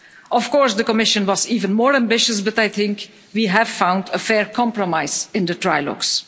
Of course, the Commission was even more ambitious but I think we have found a fair compromise in the trilogues.